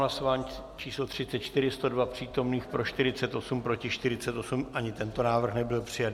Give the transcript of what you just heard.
Hlasování číslo 34, 102 přítomných, pro 48, proti 48, ani tento návrh nebyl přijat.